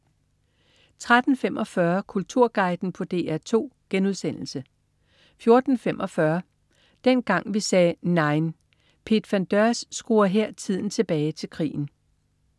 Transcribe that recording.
13.45 Kulturguiden på DR2* 14.45 Dengang vi sagde NEIN. Piet van Deurs skruer her tiden tilbage til krigen